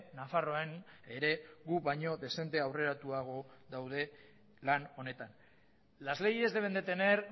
nafarroan ere gu baino dezente aurreratuago daude lan honetan las leyes deben de tener